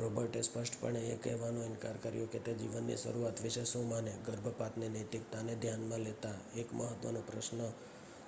રોબર્ટે સ્પષ્ટપણે એ કહેવાનો ઇનકાર કર્યો કે તે જીવનની શરૂઆત વિશે શું માને ગર્ભપાતની નૈતિકતાને ધ્યાનમાં લેતા એક મહત્ત્વનો પ્રશ્ન